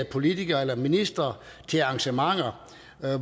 politikere eller ministre til arrangementer